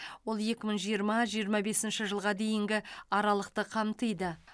ол екі мың жиырма жиырма бесінші жылға дейінгі аралықты қамтиды